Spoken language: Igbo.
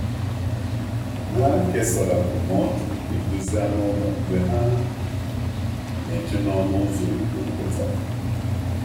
Ha kesara ndụmọdụ edozi anụ ụlọ mgbe ha na-eche n’ọnụ ụzọ ogige nkịta.